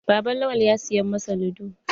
Baban Lawan ya siya masa lido.